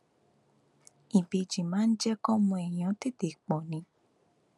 ìbejì máa ń jẹ kọmọ èèyàn tètè pọ ni